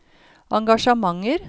engasjementer